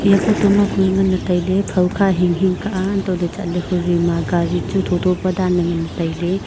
ea phota ma kue nganley tailey phawkha hinghing ka ah antohley chatley hujoima gari chu thotho pa danley nganley tailey.